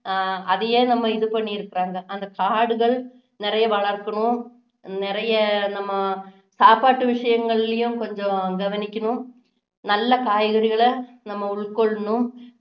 ஆஹ் அதையே நம்ம இது பண்ணிருக்குறாங்க அந்த காடுகள் நிறைய வளர்க்கணும் நிறைய நம்ம சாப்பாட்டு விஷயங்களிலயும் கொஞ்சம் கவனிக்கணும் நல்ல காய்கறிகளை நாம உட்கொள்ளணும்